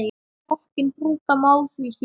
Rokkinn brúka má því hér.